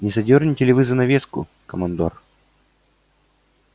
не задёрнте ли вы занавеску командор